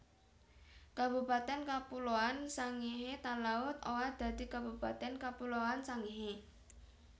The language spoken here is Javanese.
Kabupatèn Kapuloan Sangihe Talaud owah dadi Kabupatèn Kapuloan Sangihe